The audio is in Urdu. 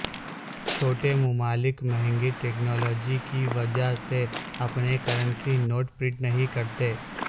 چھوٹے ممالک مہنگی ٹیکنالوجی کی وجہ سے اپنے کرنسی نوٹ پرنٹ نہیں کرتے